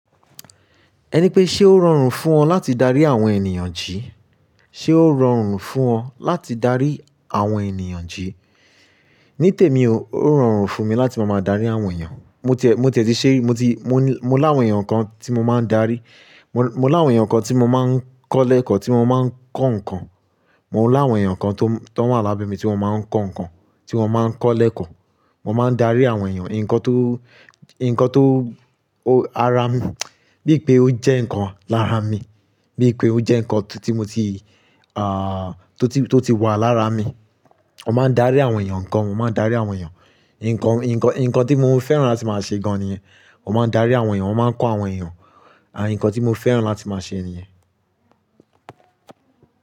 Ẹni pé ṣe ó rọrùn fún ọ láti darí àwọn ènìyàn jí? Ṣé ó rọrùn fún ọ láti darí àwọn ènìyàn jí? Ní tèmi ó, ó rọrùn fún mi láti máa ma darí àwọn ènìyàn. Mo tiẹ̀, mo tẹ̀tì ṣe rí, mo ti, mo ní, mo láwọn èyàn kan tí mo máa ń darí. Mo láwọn èyàn kan tí mo máa ń kọ́ lẹ́kọ̀ọ́, tí mo máa ń kọ́ nǹkan. Mo láwọn ènìyàn kan tó, tó wà lábẹ́ mi tí wọ́n máa ń kọ́ nǹkan, tí wọ́n máa ń kọ́ lẹ́kọ̀ọ́. Mo máa ń darí àwọn èyàn, nǹkan tó, nǹkan tó, ó, ara mi, bíi pé ó jẹ́ nǹkan lára mi, bíi pé ó jẹ́ nǹkan tí mo ti, ah, tó ti, tó ti wà lára mi. Mo máa ń darí àwọn èyàn gan, mo máa ń darí àwọn èyàn. Nǹkan, nǹkan, nǹkan tí mo fẹ́ràn láti máa ṣe gan an ni iyẹn. Mo máa ń darí àwọn ènìyàn, mo máa ń kọ́ àwọn ènìyàn. À, nǹkan tí mo fẹ́ràn láti máa ṣe ni iyẹn.